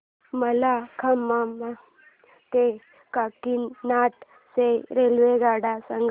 मला खम्मम ते काकीनाडा च्या रेल्वेगाड्या सांगा